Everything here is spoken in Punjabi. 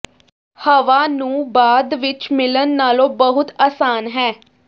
ਹਵਾ ਨੂੰ ਬਾਅਦ ਵਿਚ ਮਿਲਣ ਨਾਲੋਂ ਬਹੁਤ ਆਸਾਨ ਹੈ